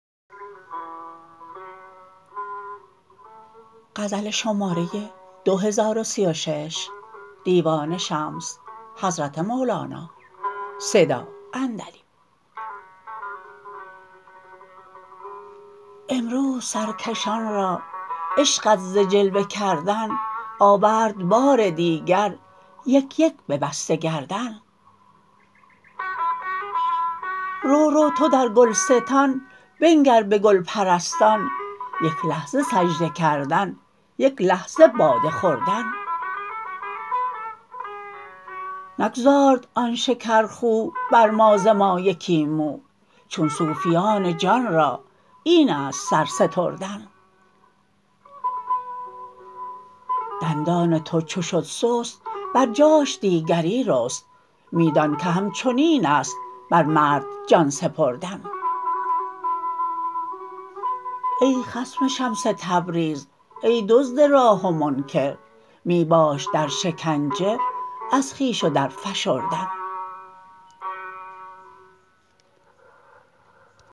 امروز سرکشان را عشقت ز جلوه کردن آورد بار دیگر یک یک ببسته گردن رو رو تو در گلستان بنگر به گل پرستان یک لحظه سجده کردن یک لحظه باده خوردن نگذارد آن شکرخو بر ما ز ما یکی مو چون صوفیان جان را این است سر ستردن دندان تو چو شد سست بر جاش دیگری رست می دانک همچنین است بر مرد جان سپردن ای خصم شمس تبریز ای دزد راه و منکر می باش در شکنجه از خویش و درفشردن